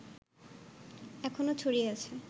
এখনো ছড়িয়ে আছে